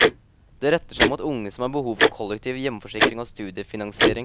Det retter seg mot unge som har behov for kollektiv hjemforsikring og studiefinansiering.